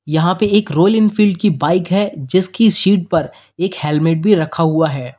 यहां पे एक रॉयल एनफील्ड की बाइक है जिसकी सीट पर एक हेलमेट भी रखा हुआ है।